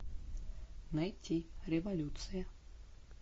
найти революция